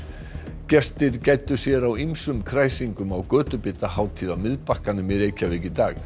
gestir gæddu sér á ýmsum kræsingum á á Miðbakkanum í Reykjavík í dag